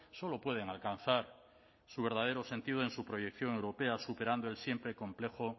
solo pueden alcanzar su verdadero sentido en su proyección europea superando el siempre complejo